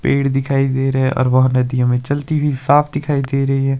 पेड़ दिखाई दे रहे हैं और वह नदी हमें चलती हुई साफ दिखाई दे रही है।